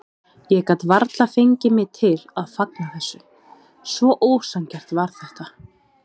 Ég gat varla fengið mig til að fagna þessu, svo ósanngjarnt var þetta.